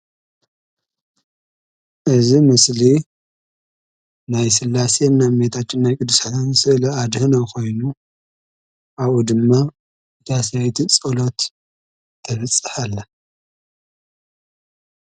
እዚ ምስሊ ናይ ስላሴን ናይ እመቤታችን ናይ ቅድስቲ ማርያም ኣዴና ኮይኑ ኣብኡ ድማ እታ ሰበይቲ ፀሎት ተብፅሕ ኣላ፡፡